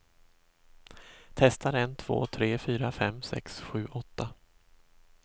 Testar en två tre fyra fem sex sju åtta.